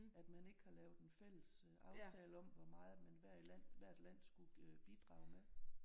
At man ikke har lavet en fælles aftale om hvor meget man hver i land hvert land skulle bidrage med